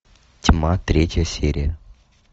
тьма третья серия